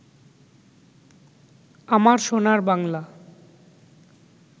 আমার সোনার বাংলা